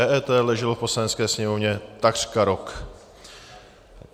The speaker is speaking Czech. EET leželo v Poslanecké sněmovně takřka rok.